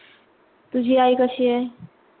तुझी आई कशी आहे?